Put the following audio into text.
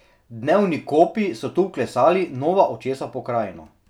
Dnevni kopi so tu vklesali nova očesa v pokrajino.